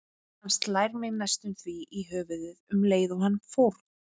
Hann slær mig næstum því í höfuðið um leið og hann fórn